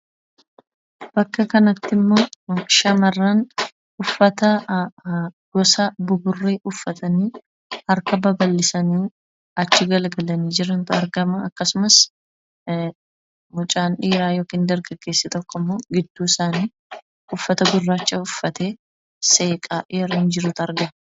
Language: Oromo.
Bakka kanatti immoo shamarran uffata gosa buburree uffatanii harka babal'isanii achi garagalanii jirantu argama akkasumas mucaan dhiiraa yookiin dargaggeessi tokko immoo gidduu isaanii uffata gurraacha uffatee seeqaa yeroo inni jirutu argama.